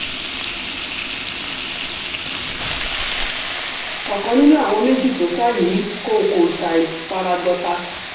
ọ̀kan nínú àwọn méjì tó sá yìí kò kò ṣàì fara gbọ́ta